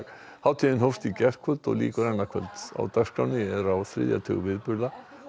hátíðin hófst í gærkvöld og lýkur annað kvöld á dagskránni er á þriðja tug viðburða